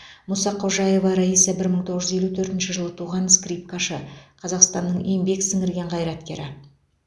мұсақожаева райса бір мың тоғыз жүз елу төртінші жылы туған скрипкашы қазақстанның еңбек сіңірген қайраткері